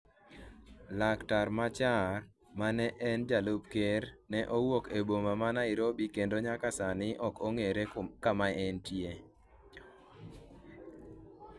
laktar Machar, mane en jalup ker, ne owuok e boma ma Nairobi kendo nyaka sani ok ong'ere kama entie